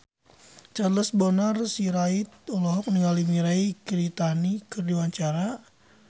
Charles Bonar Sirait olohok ningali Mirei Kiritani keur diwawancara